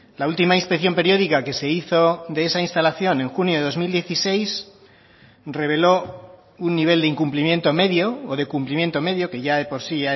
la última inspección periódica que se hizo de esa instalación en junio de dos mil dieciséis reveló un nivel de incumplimiento medio o de cumplimiento medio que ya de por sí